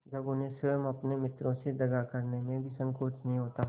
जब उन्हें स्वयं अपने मित्रों से दगा करने में भी संकोच नहीं होता